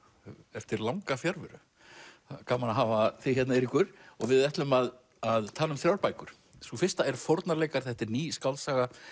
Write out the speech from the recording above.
eftir langa fjarveru það er gaman að hafa þig hérna Eiríkur við ætlum að tala um þrjár bækur sú fyrsta er þetta er ný skáldsaga